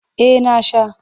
Eh na sha.